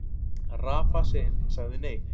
Rafa sagði nei.